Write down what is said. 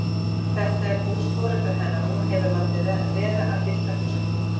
Þetta er hús foreldra hennar og hún hefur látið vera að bylta húsakynnum.